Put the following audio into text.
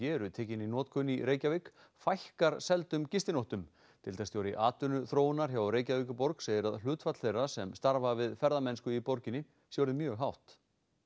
eru tekin í notkun í Reykjavík fækkar seldum gistinóttum deildarstjóri atvinnuþróunar hjá Reykjavíkurborg segir að hlutfall þeirra sem starfa við ferðamennsku í borginni sé orðið mjög hátt